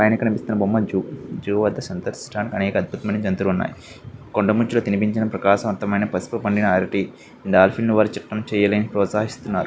పైన కనిపిస్తున్న బొమ్మ జూ జూ వద్ధ సంధస్థాన్ అనేక అద్భుతమైన జంతువులు ఉన్నాయి కొండముచ్చు కు తినిపించిన ప్రకాశవంతమైన పసుపు పండిన అరటి డాల్ఫిన్ వారు ప్రోత్సాహిస్తున్నారు.